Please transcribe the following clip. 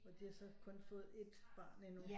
Og de har så kun fået ét barn endnu